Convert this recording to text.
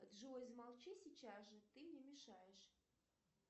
джой замолчи сейчас же ты мне мешаешь